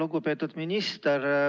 Lugupeetud minister!